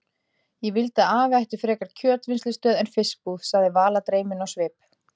Ég vildi að afi ætti frekar kjötvinnslustöð en fiskbúð sagði Vala dreymin á svip.